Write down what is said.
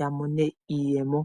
yamone iiyemo.